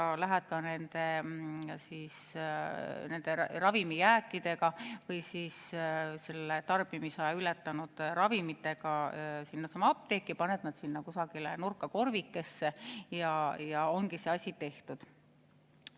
Nüüd lähed ka nende ravimijääkidega või tarbimisaja ületanud ravimitega apteeki ja paned need sinna kusagile nurka korvikesse ja ongi see asi tehtud.